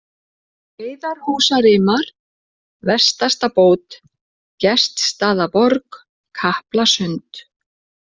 Heiðarhúsarimar, Vestastabót, Gestsstaðaborg, Kaplasund